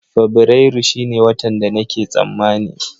Fabrairu shine watan da nake tsammani